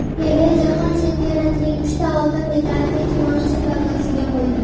Pele jahon chempionatining uchta oltin medalini kimoshdi savdosiga qo‘ydi.